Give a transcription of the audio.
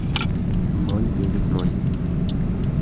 ноль девять ноль